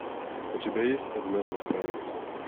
у тебя есть однажды в провинции